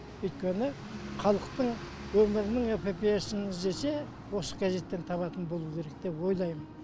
өйткені халықтың өмірінің эпопеясын іздесе осы газеттен табатын болу керек деп ойлаймын